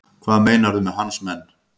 Hvað meinarðu með hans menn?